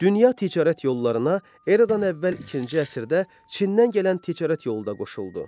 Dünya ticarət yollarına Eradan əvvəl ikinci əsrdə Çindən gələn ticarət yolu da qoşuldu.